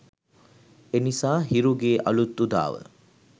එනිසා හිරුගේ අලූත් උදාව